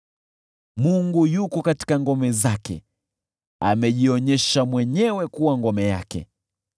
Mungu yuko katika ngome zake; amejionyesha mwenyewe kuwa ngome yake.